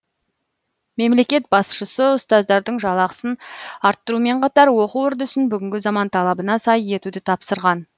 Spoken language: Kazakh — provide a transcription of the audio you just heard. мемлекет басшысы ұстаздардың жалақасын арттырумен қатар оқу үрдісін бүгінгі заман талабына сай етуді тапсырған